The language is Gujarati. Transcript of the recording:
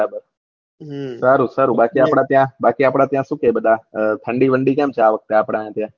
સારું સારું બાકી આપડા ત્યાં બાકી આપડા ત્યાં શું કેહ બધ ઠંડી વંડી કેમ છે આ વાખતે આપળે ત્યાં